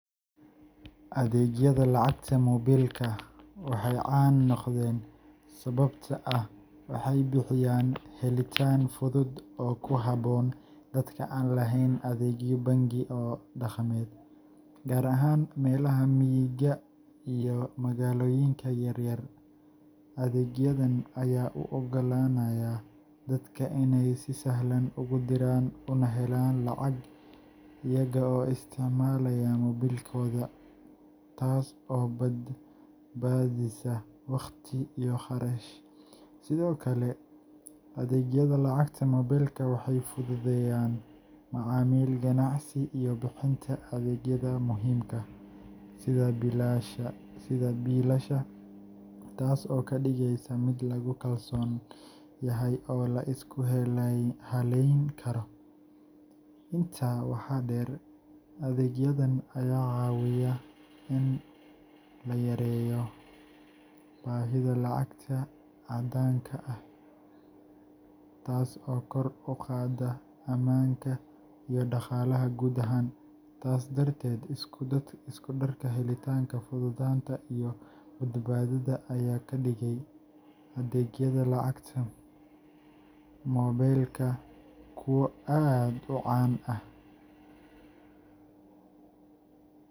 Adeegyada lacagta moobilka waxay caan noqdeen sababtoo ah waxay bixiyaan helitaan fudud oo ku habboon dadka aan lahayn adeegyo bangi oo dhaqameed, gaar ahaan meelaha miyiga iyo magaalooyinka yaryar. Adeegyadan ayaa u oggolaanaya dadka inay si sahlan ugu diraan una helaan lacag iyaga oo isticmaalaya moobilkooda, taas oo badbaadisa waqti iyo kharash. Sidoo kale, adeegyada lacagta moobilka waxay fududeeyaan macaamil ganacsi iyo bixinta adeegyada muhiimka ah sida biilasha, taas oo ka dhigaysa mid lagu kalsoon yahay oo la isku halleyn karo. Intaa waxaa dheer, adeegyadan ayaa caawiyaa in la yareeyo baahida lacagta caddaanka ah, taas oo kor u qaada ammaanka iyo dhaqaalaha guud ahaan. Taas darteed, isku darka helitaanka, fududaanta, iyo badbaadada ayaa ka dhigay adeegyada lacagta moobilka kuwo aad u caan ah.